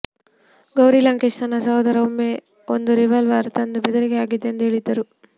ಗೌರಿ ಲಂಕೇಶ್ ತನ್ನ ಸಹೋದರ ಒಮ್ಮೆ ಒಂದು ರಿವಾಲ್ವರ್ ತಂದು ಬೆದರಿಕೆ ಹಾಕಿದ್ದ ಎಂದು ಹೇಳಿದ್ದರು